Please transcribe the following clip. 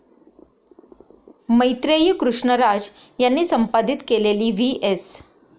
मैत्रेयी कृष्णराज यांनी संपादित केलेली व्ही एस.